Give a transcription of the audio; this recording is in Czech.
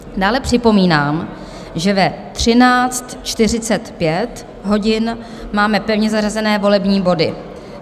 Dále připomínám, že ve 13.45 hodin máme pevně zařazené volební body.